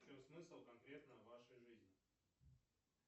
в чем смысл конкретно в вашей жизни